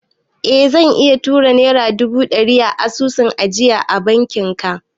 Eh zan iya tura naira dubu ɗari a asusun ajiya na bankin ka